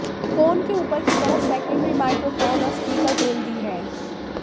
phone के ऊपर की तरफ सेकेंडरी माइक्रोफोन और स्पीकर ग्रिल दी है